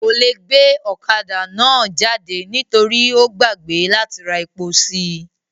Kò le gbe ọ̀kadà náà jáde nítorí ó gbàgbé láti ra epo sí i